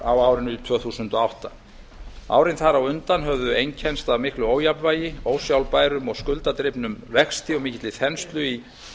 á árinu tvö þúsund og átta árin þar á undan höfðu einkennst af miklu ójafnvægi ósjálfbærum og skuldadrifnum vexti og mikilli þenslu í